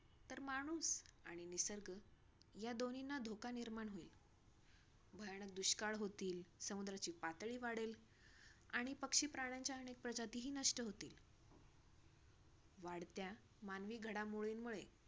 या दोन्हींना धोका निर्माण होईल. भयानक दुष्काळ होतील. समुद्राची पातळी वाढेल आणि पक्षी - प्राण्यांच्या अनेक प्रजातीही नष्ट होतील. वाढत्या मानवी घडामोडीमुळे,